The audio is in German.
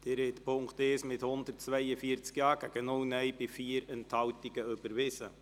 Sie haben den Punkt 1 der Motion mit 142 Ja- bei 0 Nein-Stimmen und 4 Enthaltungen überwiesen.